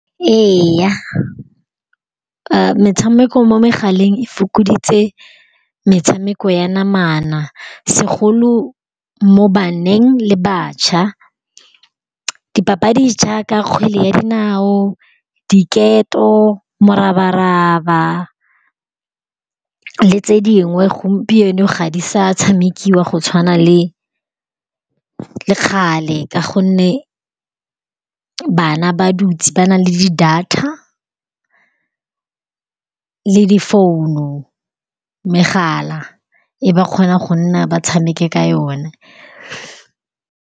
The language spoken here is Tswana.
Ee, metshameko mo megaleng e fokoditse metshameko ya namana segolo mo baneng le batjha. Dipapadi jaaka kgwele ya dinao, diketo, morabaraba le tse dingwe gompieno ga di sa tshamekiwa go tshwana le kgale ka gonne bana ba dutse ba na le di-data le difounu. Megala e ba kgona go nna ba tshameke ka yona .